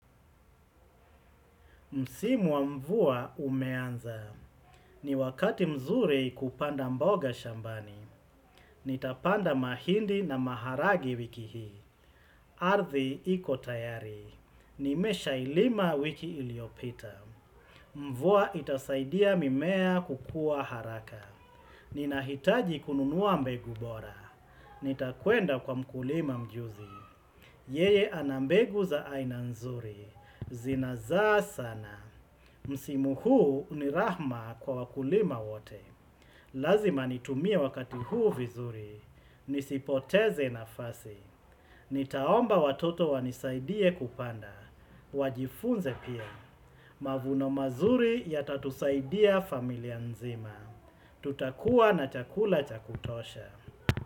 Msimu wa mvua umeanza. Ni wakati mzuri kupanda mboga shambani. Nitapanda mahindi na maharage wiki hii. Ardhi iko tayari. Nimesha ilima wiki iliopita. Mvua itasaidia mimea kukua haraka. Ninahitaji kununua mbegu bora. Nitakwenda kwa mkulima mjuzi. Yeye ana mbegu za aina nzuri. Zinazaa sana. Msimu huu ni raha kwa wakulima wote, lazima nitumie wakati huu vizuri, nisipoteze nafasi, nitaomba watoto wanisaidie kupanda, wajifunze pia. Mavuno mazuri yatatusaidia familia nzima, tutakuwa na chakula cha kutosha.